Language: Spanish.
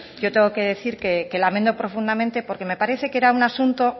yo tengo que decir que lamento profundamente porque me parece que era un asunto